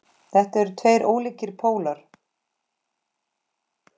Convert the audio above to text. Þetta eru tveir ólíkir pólar.